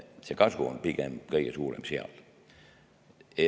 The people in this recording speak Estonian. Nii et kasu on pigem kõige suurem seal.